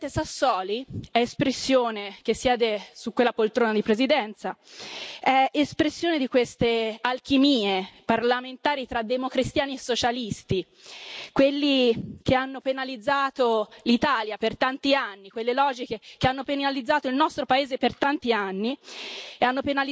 Lo stesso Presidente Sassoli è espressione che siede su quella poltrona di presidenza, è espressione di queste alchimie parlamentari tra democristiani e socialisti, quelli che hanno penalizzato l'Italia per tanti anni, quelle logiche che hanno penalizzato il nostro paese per tanti anni